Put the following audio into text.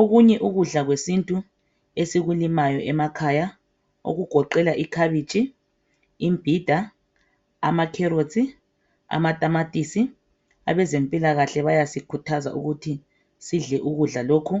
okunye ukudla kwesintu esikulimayo emakhaya okugoqela ikhabitshi imbida ama carrots amatamatisi abezempilakahle bayasikhuthaza ukuthi sidle ukudla lokho